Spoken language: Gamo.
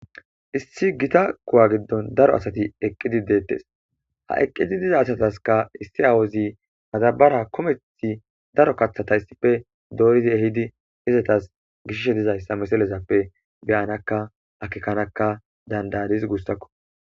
issi gita kowa giddon daro asati eqqidi deettes ha eqqidi diza asataska issi awozi matabara komethi daro kaththatayssife dooridi ehidi hizatas gishshe dizayssa meselezappe beyanakka akikkanakka dandadis guussakko